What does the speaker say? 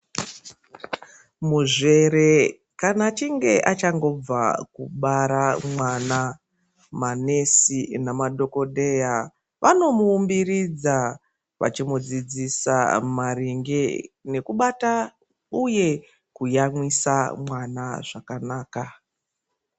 Muzvere kana achinge achagobva kubara mwana manesi nemadhokodheya vanomuumbiridza nekumudzidzisa maringe ngekubata uye kuyamwisa mwana zvakanaka.